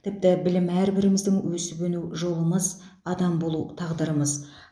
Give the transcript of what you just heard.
тіпті білім әрбіріміздің өсіп өну жолымыз адам болу тағдырымыз